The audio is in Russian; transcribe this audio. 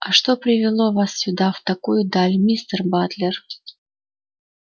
а что привело вас сюда в такую даль мистер батлер